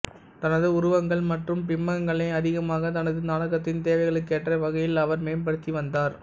தனது உருவகங்கள் மற்றும் பிம்பங்களை அதிகமாக தனது நாடகத்தின் தேவைகளுக்கேற்ற வகையில் அவர் மேம்படுத்தி வந்தார்